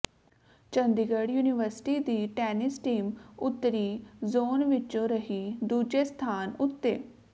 Chandigarh university ਦੀ tennis team ਉੱਤਰੀ zone ਵਿੱਚੋਂ ਰਹੀ ਦੂਜੇ ਸਥਾਨ ਉੱਤੇ